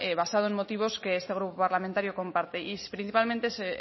basado en motivos que este grupo parlamentario comparte y principalmente